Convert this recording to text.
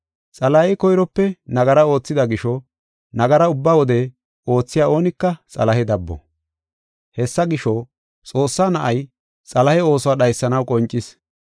Xalahey koyrope nagara oothida gisho nagara ubba wode oothiya oonika Xalahe dabbo. Hessa gisho, Xoossaa Na7ay Xalahe ooso dhaysanaw qoncis.